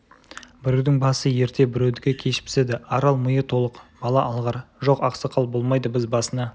біреудің басы ерте біреудікі кеш піседі арал миы толық бала алғыр жоқ ақсақал болмайды біз басына